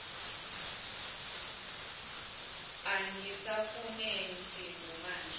angisafune msindo maje